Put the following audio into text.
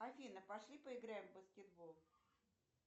афина пошли поиграем в баскетбол